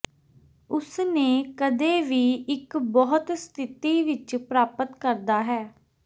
ਉਸ ਨੇ ਕਦੇ ਵੀ ਇੱਕ ਬਹੁਤ ਸਥਿਤੀ ਵਿਚ ਪ੍ਰਾਪਤ ਕਰਦਾ ਹੈ